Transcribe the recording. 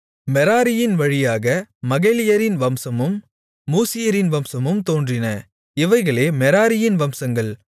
மெராரியின் வழியாக மகலியரின் வம்சமும் மூசியரின் வம்சமும் தோன்றின இவைகளே மெராரியின் வம்சங்கள்